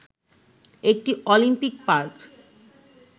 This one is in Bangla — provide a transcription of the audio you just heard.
একটি অলিম্পিক পার্ক